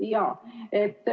Jaa.